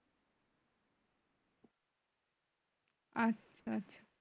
আচ্ছা আচ্ছা